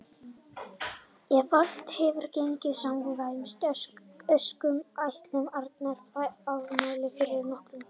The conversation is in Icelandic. Ef allt hefur gengið samkvæmt óskum áttuð þið Arnar afmæli fyrir nokkrum dögum.